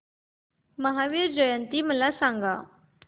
महावीर जयंती मला सांगा